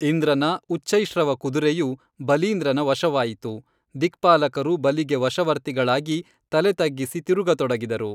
ಇಂದ್ರನ ಉಚ್ಛೈ ಶ್ರವ ಕುದುರೆಯು ಬಲೀಂದ್ರನ ವಶವಾಯಿತು ದಿಕ್ಪಾಲಕರು ಬಲಿಗೆ ವಶವರ್ತಿಗಳಾಗಿ ತಲೆ ತಗ್ಗಿಸಿ ತಿರುಗತೊಡಗಿದರು